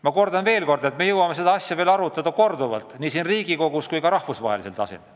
Ma kordan veel kord, et me jõuame seda asja veel korduvalt arutada nii siin Riigikogus kui ka rahvusvahelisel tasemel.